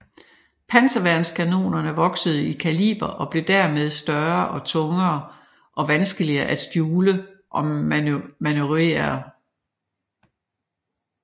Panserværnskanonerne voksede i kaliber og blev dermed større og tungere og vanskeligere at skjule og manøvrere